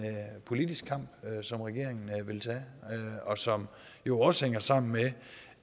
politisk kamp som regeringen vil tage og som jo også hænger sammen med